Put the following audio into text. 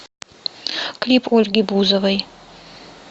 клип ольги бузовой